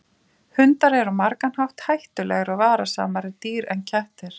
Hundar eru á margan hátt hættulegri og varasamari dýr en kettir.